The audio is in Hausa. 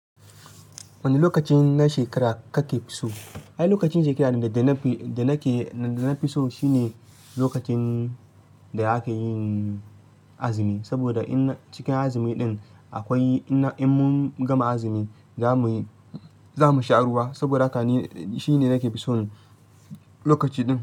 Wane lokacin na shekara kake so? Ai, lokacin shekara da nake, da nafiso shine lokacin da akayi azumi. Saboda ina cikin azumi din akwai ina in mun gama azumi zamuyi, zamu sha ruwa. Saboda haka ni shine nake so lokaci din.